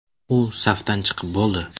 U safdan chiqib bo‘ldi.